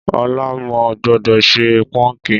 Ọ̀la mo gbọ́dọ̀ ṣe póńkì